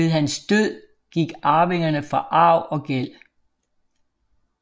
Ved hans død gik arvingerne fra arv og gæld